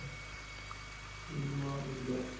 ਠੀਕ ਆ ਵਧੀਆ।